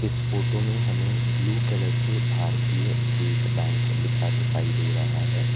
इस फोटो में हमें ब्लू कलर से भारतीय स्टेट बैंक लिखा दिखाई दे रहा है।